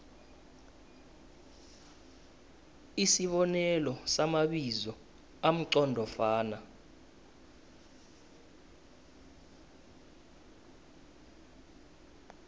isibonelo samabizo amqondofana